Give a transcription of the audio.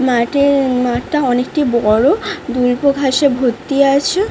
মাঠে মাঠটা অনেকটি বড়। দুল্প ঘাসে ভর্তি আছে।